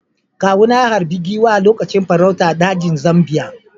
Kawuna ya harbi giwa a lokacin farauta a dajin Zambiya.